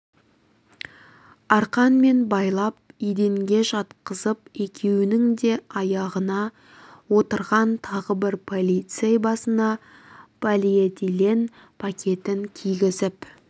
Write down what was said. арқанмен байлап еденге жатқызып екеуі оның аяғына отырған тағы бір полицей басына полиэтилен пакетін кигізіп